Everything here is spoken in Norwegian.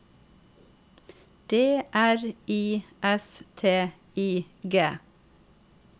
D R I S T I G